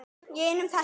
Í einum þætti!